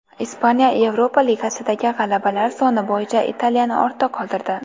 Ispaniya Yevropa Ligasidagi g‘alabalar soni bo‘yicha Italiyani ortda qoldirdi.